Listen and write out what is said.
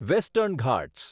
western Ghats